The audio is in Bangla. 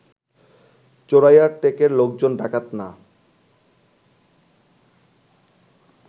চোরাইয়ার টেকের লোকজন ডাকাত না